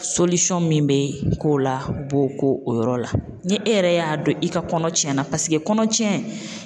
min bɛ k'o la bo ko o yɔrɔ la, ni e yɛrɛ y'a dɔn i ka kɔnɔ tiɲɛna paseke kɔnɔtiɲɛ